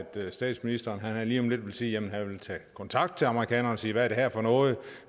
statsministeren lige om lidt vil sige at han vil tage kontakt til amerikanerne og sige hvad er det her for noget